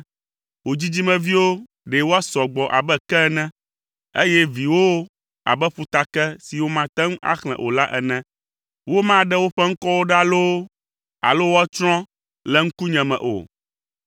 Wò dzidzimeviwo ɖe woasɔ gbɔ abe ke ene, eye viwòwo abe ƒutake si womate ŋu axlẽ o la ene. Womaɖe woƒe ŋkɔwo ɖa loo alo woatsrɔ̃ le ŋkunye me o.”